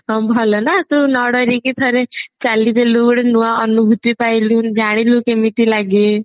ହଁ ଭଲ ନା ତୁ ନ ଡରିକି ଥରେ ଚାଲିଦେଲୁ ଗୋଟେ ନୂଆ ଅନୁଭୂତି ପାଇଲୁ ଜାଣିଲୁ କେମିତି ଲାଗେ